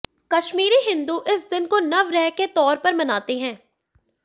कश्मीरी हिन्दू इस दिन को नवरेह के तौर पर मनाते हैं